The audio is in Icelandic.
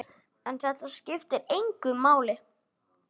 En þetta skiptir engu máli.